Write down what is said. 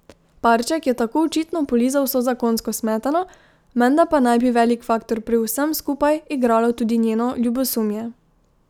Parček je tako očitno polizal vso zakonsko smetano, menda pa naj bi velik faktor pri vsem skupaj igralo tudi njeno ljubosumje.